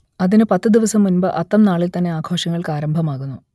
അതിനു പത്തു ദിവസം മുൻപ് അത്തം നാളിൽ തന്നെ ആഘോഷങ്ങൾക്ക് ആരംഭമാകുന്നു